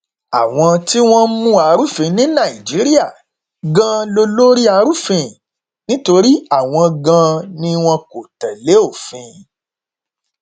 àwọn tí wọn ń mú arúfin ní nàìjíríà ganan lólórí arúfin nítorí àwọn ganan ni wọn kò tẹlé òfin